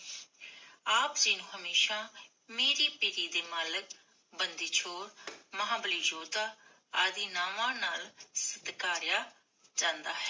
ਆਪ ਜੀ ਹਮੇਸ਼ਾ, ਮੀਰੀ ਪੀਰੀ ਦੇ ਮਾਲਕ, ਬੰਦੀ ਛੋਡ, ਮਹਾਬਲੀ ਯੋਧਾ ਆਦਿ ਨਾਵਾਂ ਨਾਲ ਸਤਕਾਰਿਆ ਜਾਂਦਾ ਹੈ।